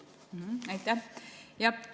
Aitäh!